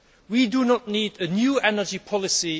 We do not need a new energy policy.